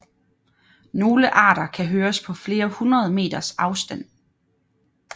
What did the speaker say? Nogle arter kan høres på flere hundrede meters afstand